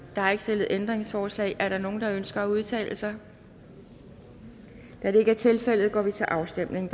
der er ikke stillet ændringsforslag er der nogen der ønsker at udtale sig da det ikke er tilfældet går vi til afstemning